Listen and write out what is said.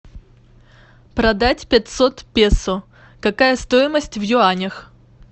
продать пятьсот песо какая стоимость в юанях